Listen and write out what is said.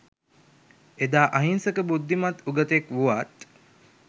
එදා අහිංසක බුද්ධිමත් උගතෙක් වුවත්